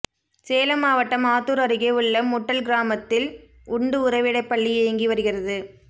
சேலம் மாவட்டம் ஆத்தூர் அருகே உள்ள முட்டல் கிராமத்தில் உண்டு உறைவிடப்பள்ளி இயங்கி வருகிறது